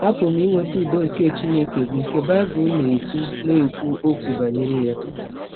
Apụrụ m inweta ụdọ nke Chineke bụ́ nke cs] Bible na - ekwụ na - ekwụ ọkwụ banyere ya.